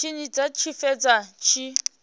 tshine dza tshi fhedza dzi